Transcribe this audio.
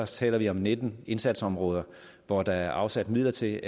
taler vi om nitten indsatsområder hvor der er afsat midler til